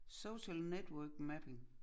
Social network mapping